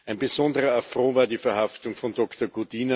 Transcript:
Ein besonderer Affront war die Verhaftung von Dr.